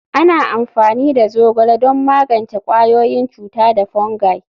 Ana amfani da zogale don magance ƙwayoyin cuta da fungi.